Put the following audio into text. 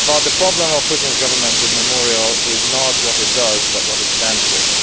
The problem Putin's government has with Memorial is not what it does, but what it stands for.